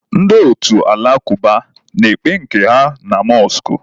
Ndị otu alakuba na-ekpe nke ha na mọskụ.